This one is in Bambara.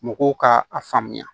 Mɔgɔw ka a faamuya